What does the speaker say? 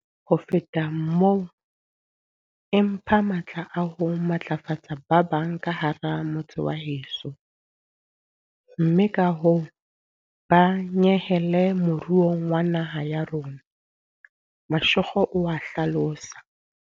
Ho feta moo, e mpha matla a ho matlafatsa ba bang ka hara motse wa heso mme kahoo ba nyehele moruong wa naha ya rona, Mashego o a hlalosa.